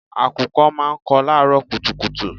Àkùkọ máa ń kọ láàrọ́ kùtùkùtù.